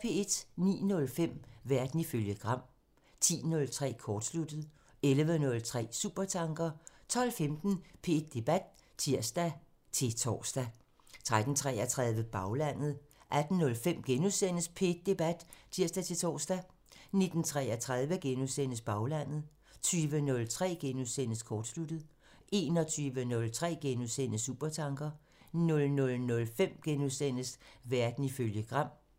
09:05: Verden ifølge Gram (tir) 10:03: Kortsluttet (tir) 11:03: Supertanker (tir) 12:15: P1 Debat (tir-tor) 13:33: Baglandet (tir) 18:05: P1 Debat *(tir-tor) 19:33: Baglandet *(tir) 20:03: Kortsluttet *(tir) 21:03: Supertanker *(tir) 00:05: Verden ifølge Gram *(tir)